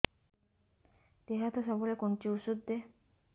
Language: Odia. ଦିହ ହାତ ସବୁବେଳେ କୁଣ୍ଡୁଚି ଉଷ୍ଧ ଦେ